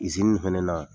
fɛnɛ na